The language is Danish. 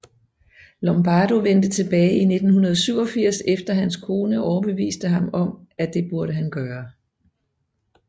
Lombardo vendte tilbage i 1987 efter hans kone overbeviste ham om at det burde han gøre